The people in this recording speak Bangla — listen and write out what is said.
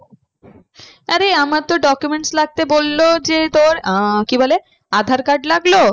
আরে আমার তো document লাগবে বললো যে তোর আহ কি বলে aadhaar card লাগলো